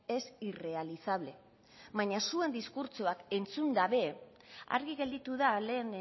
es irrealizable baina zuen diskurtsoak entzunda ere argi gelditu da lehen